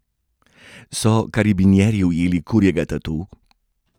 So karabinjerji ujeli kurjega tatu?